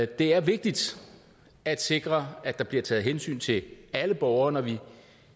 det er vigtigt at sikre at der bliver taget hensyn til alle borgere når vi